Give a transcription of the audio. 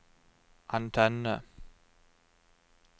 antenne